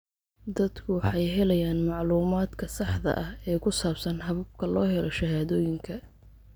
Dadku waxay helayaan macluumaadka saxda ah ee ku saabsan hababka loo helo shahaadooyinka.